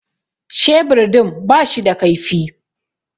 Shebur din ba shi da kaifi